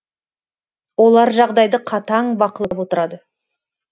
олар жағдайды қатаң бақылап отырады